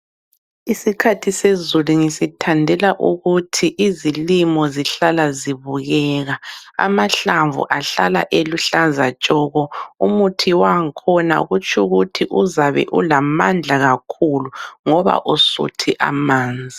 Isikhathi sezulu ngisithandela ukuthi izilimo zihlala zibukeka, amahlamvu ahlala eluhlaza tshoko, umuthi wangkhona kutsho ukuthi uzabe ulamandla kakhulu ngoba usuthi amanzi.